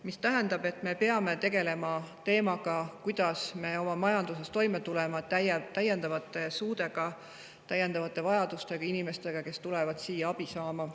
See tähendab, et me peame tegelema selle teemaga, kuidas me oma majanduse abil tuleme toime täiendavate suudega, täiendavate vajadustega, inimestega, kes tulevad siia abi saama.